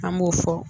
An b'o fɔ